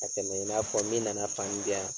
Ka tɛmɛ i n'a fɔ min nana fani di yan